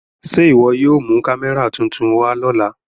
Ṣe iwọ yóò mu kamẹra tuntun wa lọla?